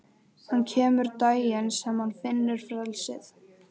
Hann kemur daginn sem hann finnur frelsið.